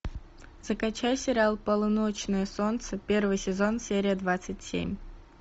закачай сериал полуночное солнце первый сезон серия двадцать семь